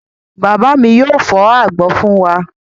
Bàbá mi yóò fọ́ àgbọn fún wa.